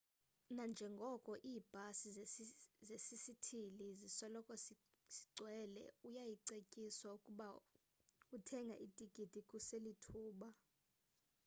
nanjengoko iibhasi zesisithili zisoloko sigcwele uyacetyiswa ukuba uthenge itikiti kuselithuba